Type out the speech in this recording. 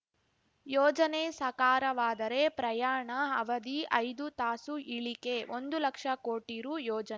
ಯೋಜನೆ ಸಕಾರವಾದರೆ ಪ್ರಯಾಣ ಅವಧಿ ಐದು ತಾಸು ಇಳಿಕೆ ಒಂದು ಲಕ್ಷ ಕೋಟಿ ರು ಯೋಜನ್